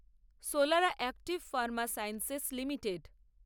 সোলারা Active Pharma Sciences limited